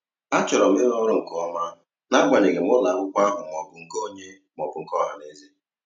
A chọrọ m ịrụ ọrụ nke ọma, n'agbanyeghị ma ụlọakwụkwọ ahụ ọ bụ nke onye maọbụ nke ọhanaeze